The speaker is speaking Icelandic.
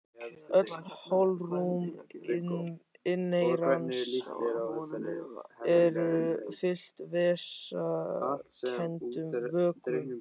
Öll holrúm inneyrans eru fyllt vessakenndum vökvum.